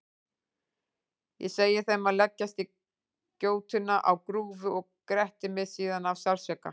Ég segi þeim að leggjast í gjótuna á grúfu og gretti mig síðan af sársauka.